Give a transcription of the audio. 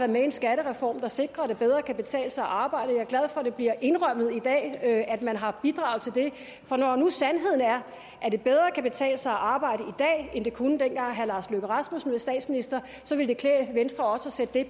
med i en skattereform der sikrer at det bedre kan betale sig at arbejde er glad for at det bliver indrømmet i dag at man har bidraget til det for når nu sandheden er at det bedre kan betale sig at arbejde dag end det kunne dengang herre lars løkke rasmussen var statsminister så ville det klæde venstre også at sætte det